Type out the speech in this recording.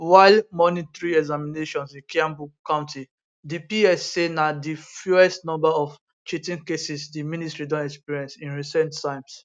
while monitoring examinations in kiambu county di ps say na di fewest number of cheating cases di ministry don experience in recent times